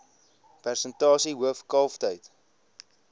persentasie hoof kalftyd